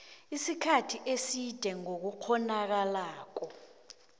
isikhathi eside ngokungakghonakalako